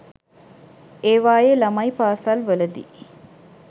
ඒවායේ ළමයි පාසල් වලදි